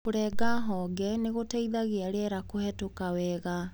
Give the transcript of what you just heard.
Kũrenga honge nĩgũteithagia rĩera kũhetũka wega.